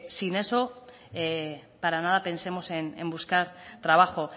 sin eso para nada pensemos en buscar trabajo